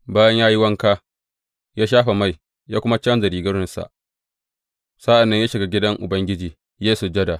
Bayan ya yi wanka, ya shafa mai, ya kuma canja rigunarsa, sa’an nan ya shiga gidan Ubangiji ya yi sujada.